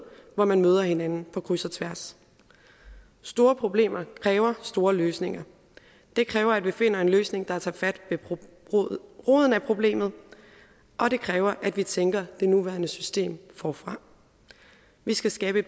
hvor man møder hinanden på kryds og tværs store problemer kræver store løsninger det kræver at vi finder en løsning der tager fat ved roden af problemet og det kræver at vi tænker det nuværende system forfra vi skal skabe